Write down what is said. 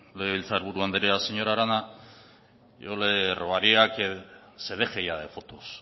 legebiltzar buru andrea señora arana yo le rogaría que se deje ya de fotos